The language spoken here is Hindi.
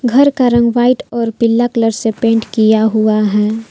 घर का रंग व्हाइट और पीला कलर से पेंट किया हुआ है।